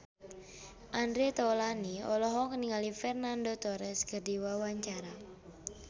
Andre Taulany olohok ningali Fernando Torres keur diwawancara